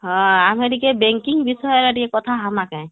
ହଁ ଆମେ ଟିକେ banking ବିଷୟରେ ଟିକେ କଥା ହଁମା କେ